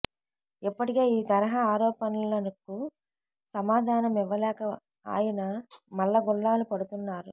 ఇప్పటికే ఈ తరహా ఆరోపణలకు సమాధాన మివ్వలేక ఆయన మల్లగుల్లాలు పడుతున్నారు